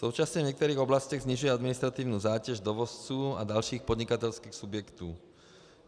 Současně v některých oblastech snižuje administrativní zátěž dovozců a dalších podnikatelských subjektů.